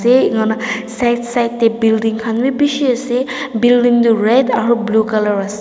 teh ena ngona side side teh building khan bhi bishi ase building tu red aru blue colour ase.